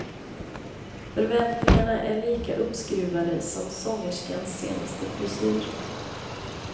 Förväntningarna är lika uppskruvade som sångerskans senaste frisyr.